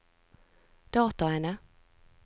dataene